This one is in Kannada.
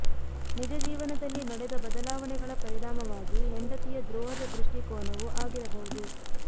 ನಿಜ ಜೀವನದಲ್ಲಿ ನಡೆದ ಬದಲಾವಣೆಗಳ ಪರಿಣಾಮವಾಗಿ ಹೆಂಡತಿಯ ದ್ರೋಹದ ದೃಷ್ಟಿಕೋನವು ಆಗಿರಬಹುದು